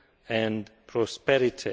growth and prosperity.